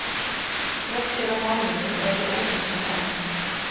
Fréttir af málinu eru óljósar enn